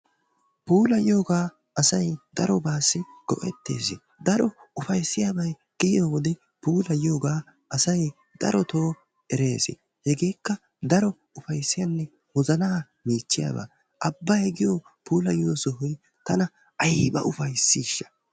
puulayiyogaa giyooba asay darobaassi goetees. daro ufayssiyaabay de'iyoode puulayiyoogaa asay daro erees. hegeekka daro ufayssiyaabay wozanaa meeciyaba. abbay giy puulayiya sohoy tana aybba ufaysiishsha.